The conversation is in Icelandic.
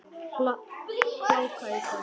Hláka í dag.